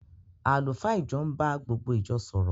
Àlùfáà ìjọ ń bá gbogbo ìjọ sọ̀rọ̀